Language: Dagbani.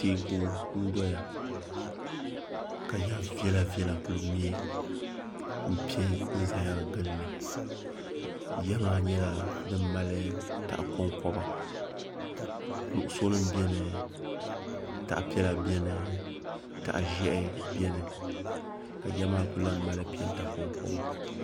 Teeku n-dɔya ka ya viɛlviɛla kuli me m-pe n-zaya ɡili li ya maa nyɛla din mali tah' kɔŋkɔba nuɣusonima beni tah' piɛla beni tah' ʒɛhi beni ka ya maa kuli lan mali peenta kɔŋkɔba